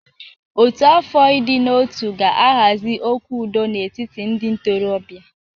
Ọ́tù afọ ịdị n'otu ga-ahazi okwu udo n'etiti ndị ntorobịa.